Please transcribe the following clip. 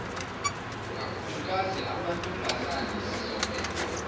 kakhulukazi amantombazane sizokwenza